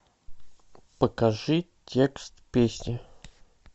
покажи текст песни